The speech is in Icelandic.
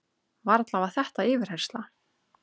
Varla var þetta yfirheyrsla?